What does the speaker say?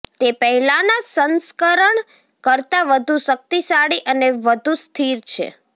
તે પહેલાંના સંસ્કરણ કરતા વધુ શક્તિશાળી અને વધુ સ્થિર છે